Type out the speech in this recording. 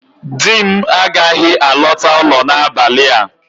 Di m agaghị alọta ụlọ n'abalị a